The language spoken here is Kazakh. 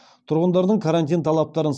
тұрғындардың карантин талаптарын